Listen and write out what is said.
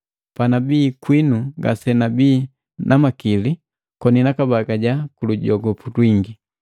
Panabi kwinu ngasenabii na makili koni nakabagaja kulujogopu lwingi.